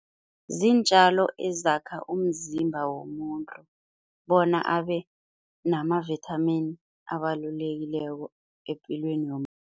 Ziintjalo ezakha umzimba womuntu bona abe namavithamini abalulekileko epilweni yomuntu.